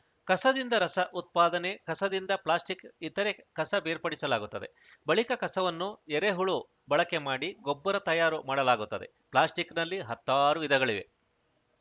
ಕಸದಿಂದ ರಸ ಉತ್ಪಾದನೆ ಕಸದಿಂದ ಪ್ಲಾಸ್ಟಿಕ್‌ ಇತರೆ ಕಸ ಬೇರ್ಪಡಿಸಲಾಗುತ್ತದೆ ಬಳಿಕ ಕಸವನ್ನು ಎರೆಹುಳು ಬಳಕೆ ಮಾಡಿ ಗೊಬ್ಬರ ತಯಾರು ಮಾಡಲಾಗುತ್ತದೆ ಪ್ಲಾಸ್ಟಿಕ್‌ನಲ್ಲಿ ಹತ್ತಾರು ವಿಧಗಳಿವೆ